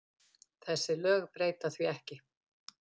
Þessi lög breyta því ekki.